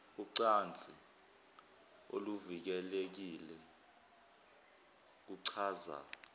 ucansi oluvikelekile kuchaza